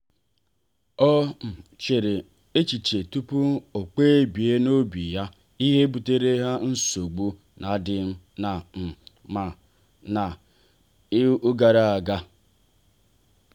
o um chere echiche tupu o kpebie n'obi ya ihe butere ha nsogbu n'adim na um mma ha um gara aga.